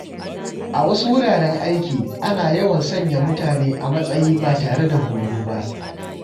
A wasu wuraren aiki, ana yawan sanya mutane a matsayi ba tare da horo ba.